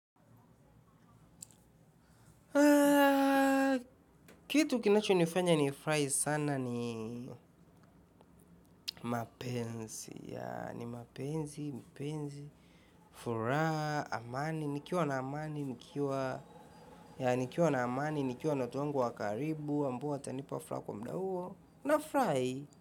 Kitu kinacho nifanya ni furahi sana ni mapenzi yaa, ni mapenzi, mpenzi, furaha, amani nikiwa na amani, nikiwa yaa, nikiwa na amani, nikiwa na watu wangu wa karibu, ambao watanipa furaha kwa muda huo, nafurahi.